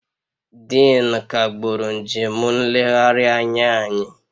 Dean kagburu njem nlegharị anya anyị